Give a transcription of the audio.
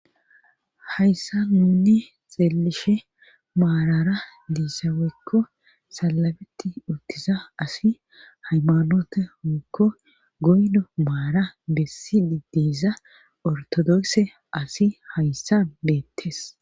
hayssa nunni xeelishe maarara diissaweykko salabeti urtiza asi haymanota mukko goydo maara bessidi diiza ortodokse asi hayssan beettes